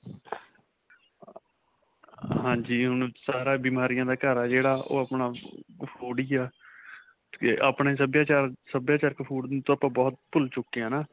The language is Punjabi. ਹਾਂਜੀ, ਹੁਣ ਸਾਰਾ ਇਹ ਬੀਮਾਰਿਆਂ ਦਾ ਘਰ ਹੈ, ਜਿਹੜਾ ਉਹ ਆਪਣਾ ਅਅ food ਹੀ ਹੈ. 'ਤੇ ਆਪਣੇ ਸਭਿਆਚਾਰ, ਸਭਿਆਚਾਰਕ food ਨੂੰ ਤਾ ਆਪਾਂ ਬਹੁਤ ਭੁੱਲ ਚੁੱਕੇ ਹੈ ਨਾ .